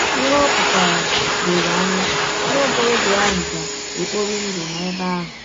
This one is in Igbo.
Ihe ọ pụtara dọrọ anya: Nwa ọkọrọbịa ahụ ga - ekpọri ndụ n’ebe ahụ.